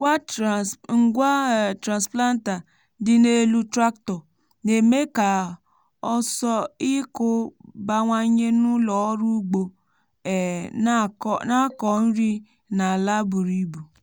ngwa um transplanter dị n'elu tractor na-eme ka ọsọ ịkụ bawanye n’ụlọ ọrụ ugbo um na-akọ nri n’ala buru um ibu.